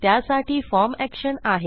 त्यासाठी form action आहे